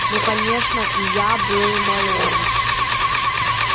ну конечно и я была моложе